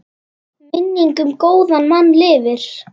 Minning um góðan mann lifir.